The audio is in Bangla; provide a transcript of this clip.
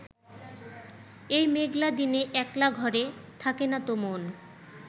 এই মেঘলা দিনে একলা ঘরে থাকে না তো মন